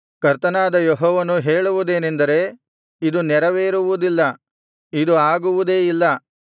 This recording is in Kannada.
ಕರ್ತನಾದ ಯೆಹೋವನು ಹೇಳುವುದೇನೆಂದರೆ ಇದು ನೆರವೇರುವುದಿಲ್ಲ ಇದು ಆಗುವುದೇ ಇಲ್ಲ